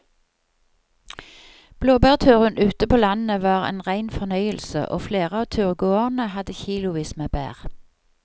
Blåbærturen ute på landet var en rein fornøyelse og flere av turgåerene hadde kilosvis med bær.